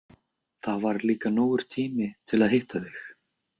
Það var líka nógur tími til að hitta þig.